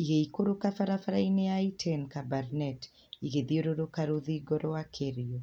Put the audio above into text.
igĩikũrũka barabara-inĩ ya Iten-Kabarnet, igĩthiũrũrũka rũthingo rwa Kerio.